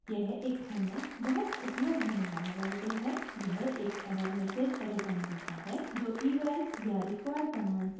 यह एक अन्य बहुत उपयोग होने वाला वेरिएबल है यह एक एरर मैसेज रिटर्न करता है जो eval या require कमांड से रिटर्न होता है